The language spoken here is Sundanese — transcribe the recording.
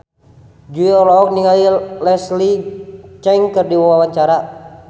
Jui olohok ningali Leslie Cheung keur diwawancara